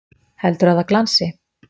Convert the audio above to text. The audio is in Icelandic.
Heldurðu að það glansi!